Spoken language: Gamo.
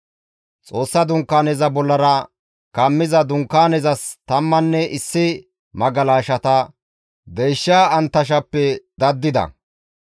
Xoossa Dunkaaneza bollara kammiza dunkaanezas tammanne issi magalashata deysha anttashappe daddida.